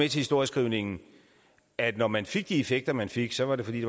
historieskrivningen at når man fik de effekter man fik så var det fordi